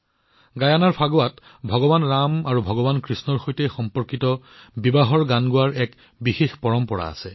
গিয়েনাৰ ফাগৱাত ভগৱান ৰাম আৰু ভগৱান কৃষ্ণৰ সৈতে সম্পৰ্কিত বিবাহৰ গান গোৱাৰ এক বিশেষ পৰম্পৰা আছে